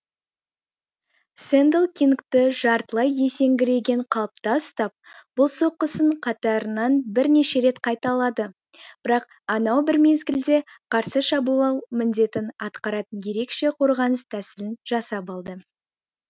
сэндл кингті жартылай есеңгіреген қалыпта ұстап бұл соққысын қатарынен бірнеше рет қайталады бірақ анау бір мезгілде қарсы шабуыл міндетін атқаратын ерекше қорғаныс тәсілін жасап алды